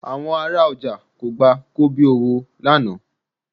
Àwọn ará ọjà kò gba kobíowó lánàá